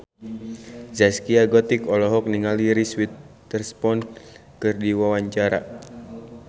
Zaskia Gotik olohok ningali Reese Witherspoon keur diwawancara